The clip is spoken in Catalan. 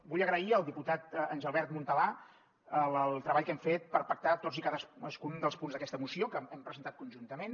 vull agrair al diputat engelbert montalà el treball que hem fet per pactar tots i cadascun dels punts d’aquesta moció que hem presentat conjuntament